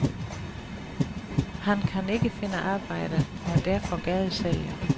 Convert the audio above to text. Han kan ikke finde arbejde og er derfor gadesælger.